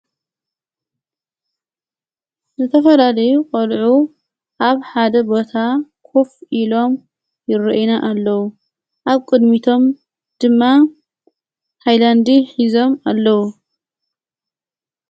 ዘተፈዳለ ቖልዑ ኣብ ሓደ ቦታ ዂፍ ኢሎም ይርዒነ ኣለዉ ኣብ ቅድሚቶም ድማ ኃይላንዲ ኂዞም ኣለዉ።